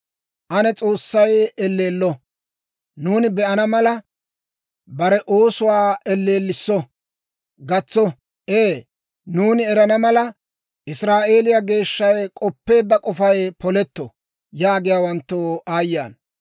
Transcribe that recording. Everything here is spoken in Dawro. «Ane S'oossay elleello! Nuuni be'ana mala, bare oosuwaa elleelliso! Gatso! Ee, nuuni erana mala, Israa'eeliyaa Geeshshay k'oppeedda k'ofay poletto» yaagiyaawanttoo aayye ana!